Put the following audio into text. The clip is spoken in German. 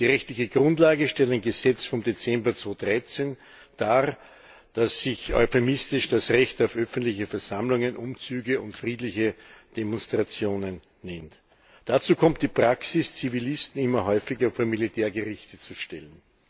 Die rechtliche Grundlage stellt ein Gesetz vom Dezember 2013 dar, das sich euphemistisch das Recht auf öffentliche Versammlungen, Umzüge und friedliche Demonstrationen nennt. Dazu kommt die Praxis, Zivilisten immer häufiger vor Militärgerichte zu stellen.